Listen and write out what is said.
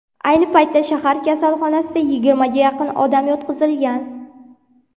Ayni paytda shahar kasalxonasiga yigirmaga yaqin odam yotqizilgan.